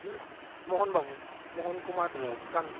Mohan Babu Mohan Kumar Gandhi